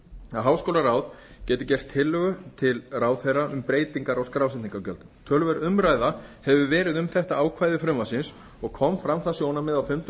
að háskólaráð geti gert tillögu til ráðherra um breytingar á skrásetningargjöldum töluverð umræða hefur verið um þetta ákvæði frumvarpsins og kom fram það sjónarmið á fundum